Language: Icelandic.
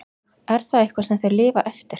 En er það eitthvað sem þeir lifa eftir?